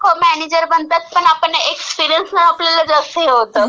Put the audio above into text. एकदम लोकं मॅनेजर बनतात, पण आपण एक्सपिरिअन्सचं आपल्याला जास्त हे होतं.